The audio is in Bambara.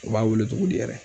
U b'a wele togo di yɛrɛ